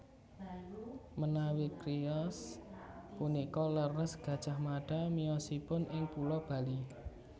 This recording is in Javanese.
Menawi criyos punika leres Gajah Mada miyosipun ing pulo Bali